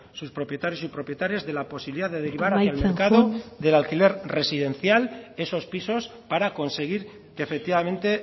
sus propietario y propietarias de la posibilidad de derivar al mercado amaitzen joan del alquiler residencial esos pisos para conseguir que efectivamente